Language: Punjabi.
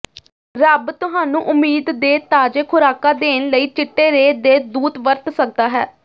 ਰੱਬ ਤੁਹਾਨੂੰ ਉਮੀਦ ਦੇ ਤਾਜ਼ੇ ਖੁਰਾਕਾਂ ਦੇਣ ਲਈ ਚਿੱਟੇ ਰੇ ਦੇ ਦੂਤ ਵਰਤ ਸਕਦਾ ਹੈ